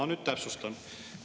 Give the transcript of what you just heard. Ma nüüd täpsustan.